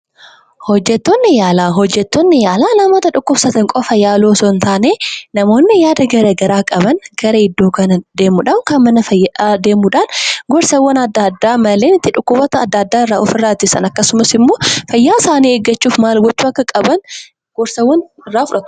hojjettonni yaalaa: hojettonni yaalaa namoota dhukkubsatan qofa yaaluu osoo hin taane namoonni yaada garagaraa qaban gara iddoo kana deemudhaan yookaan mana fayya deemuudhaan gorsawwan adda addaa malleen itti dhukkuboota adda addaa irraa of irraa ittisan akkasumas immoo fayyaa isaanii eeggachuudhaaf maal gochuu akka qaban gorsa irraa fudhatu.